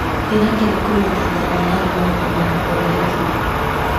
Ndĩrakena kũnyita itemi harĩ maũndũ ma ũthondeki.